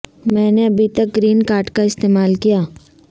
میں نے ابھی تک گرین کارڈ کا استعمال کیا